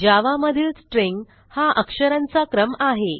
जावा मधील स्ट्रिंग हा अक्षरांचा क्रम आहे